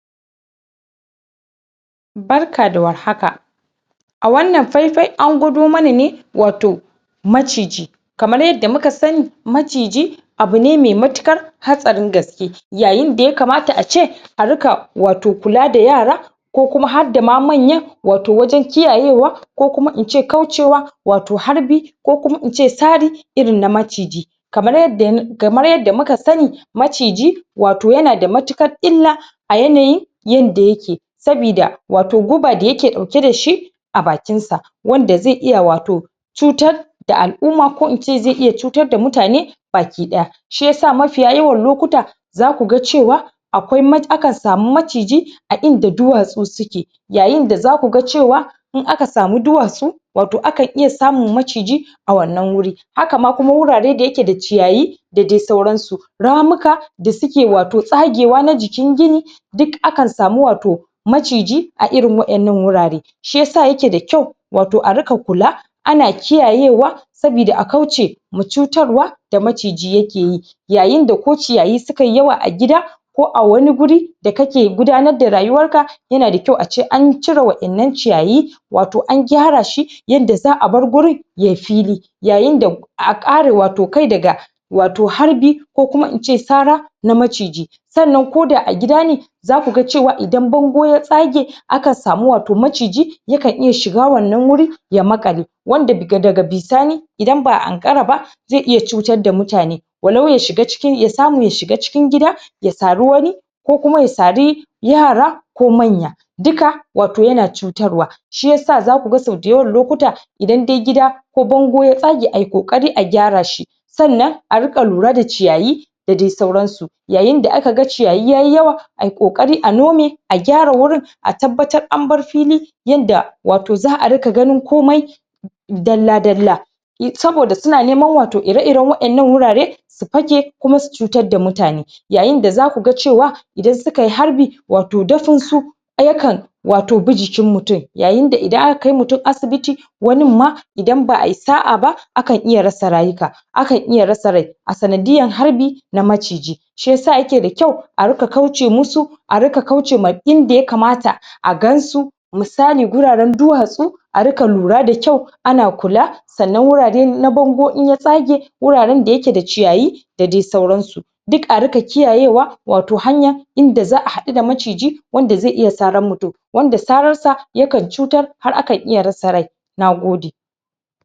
Barka da warhaka a wannan faifai, an gwado mana ne wato macigi kamar yadda muka sani macigi abu ne mai mutukar hatsarin gaske yayin da ya kamata a ce a ruka wato kula da yara ko kuma har da ma manyan wato wajen kiyaye wa ko kuma in ce kauce wa wato harbi ko kuma in ce sari irin na macigi kamar yadda, kamar yadda muka sani macigi wato ya na da matukar illa a yanayin yanda ya ke sabida wato guba da ya ke dauke da shi a bakin sa wanda zai iya wato cutar da al'uma ko kuma in ce zai iya cutar da mutane bakidaya shiyasa mafiya yawan lokuta za ku gan cewa akwai ma, a kan sami macigi a inda duwatsu su ke yayin da za ku gan cewa in aka samu duwatsu wato akan iya samun macigi a wannan wuri haka ma, kuma wurare da ya ke da ciyayi da dai sauran su ramuka da suke wato tsagewa na jikin gini duk akan sami wato macigi a irin wa'en nan wurare shiyasa ya ke da kyau wato a ruka kula ana kiyaye wa sabida a kauce ma cutar wa da macigi ya ke yi yayin da ko ciyayi suka yi yawa a gida ko a wani wuri da ka ke gudanar da rayuwar ka ya na da kyau a ce an cire wa'en nan ciyayi wato an gyara shi yanda za a bar gurin ya yi fili yayin da a kare wato kai da ga wato harbi ko kuma in ce sara na macigi sannan ko da a gida ne za ku gan cewa, idan bango ya tsage a kan sami wato macigi ya kan iya shiga wannan wuri ya makkale wanda da ga bisani idan ba a ankara ba zai iya cutar da mutane wallo ya shiga cikin, ya samu ya shiga cikin gida ya sari wani ko kuma ya sari yara ko manya duka wato ya na cutar wa shiyasa za ku gani, so dayawan lokuta idan dai gida ko bango ya tsage, a yi kokari a gyara shi sannan a ruka lura da ciyayi da dai sauran su yayin da aka gan ciyayi ya yi yawa ayi kokari a nome a gyara wurin a tabatar an bar fili yanda wato za a ruka ganin komai dalla dalla saboda su na neman wato ire iren wa'en nan wurare su pake kuma su cutar da mutane yayin da za ku gan cewa idan su ka yi harbi wato dafin su ya kan wato bi jikin mutum yayin da idan a ka kai mutum asibiti wannin ma idan ba a yi sa'a ba a kan iya rasa rayuka a kan iya rasa rai a sanadiyar harbi na macigi shiyasa ya ke da kyau a ruka kauce musu a ruka kauce ma inda ya kamata a gan su misali guraren duwatsu a ruka lura da kyau ana kula sannan wurare na bango, in ya tsage wuraren da ya ke da ciyayi da dai sauran su duk a ruka kiyayewa wato hanya wato hanya inda za a haddu da macigi wanda zai iya saran mutum wanda sarar sa ya kan cutar har akan iya rasa rai na gode